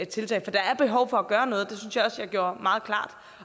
tiltag for der er behov for at gøre noget at jeg gjorde meget klart